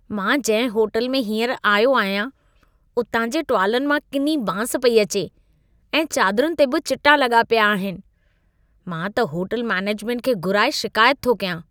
मां जंहिं होटल में हीअंर आयो आहियां, उतां जे टुवालनि मां किनी बांस पई अचे ऐं चादरुनि ते बि चिटा लॻा पिया आहिनि। मां त होटल मेनेजमेंट खे घुराए शिकायत थो कयां।